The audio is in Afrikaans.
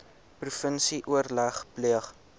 provinsie oorleg pleeg